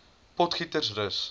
potgietersrus